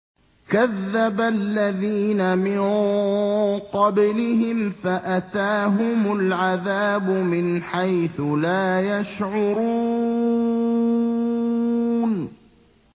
كَذَّبَ الَّذِينَ مِن قَبْلِهِمْ فَأَتَاهُمُ الْعَذَابُ مِنْ حَيْثُ لَا يَشْعُرُونَ